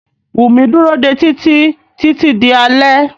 Wùmí dúró dé Títí títí di alé.